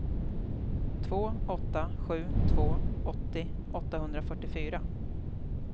två åtta sju två åttio åttahundrafyrtiofyra